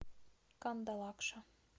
кандалакша